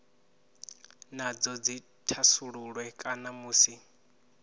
nadzo dzi thasululwe kana musi